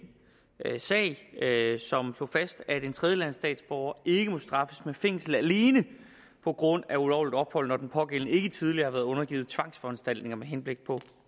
sag som slog fast at en tredjelandsstatsborger ikke må straffes med fængsel alene på grund af ulovligt ophold når den pågældende ikke tidligere har været undergivet tvangsforanstaltninger med henblik på